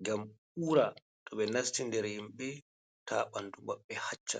ngam ura to ɓe nasti nder himɓe ta ɓandu maɓɓe hacca.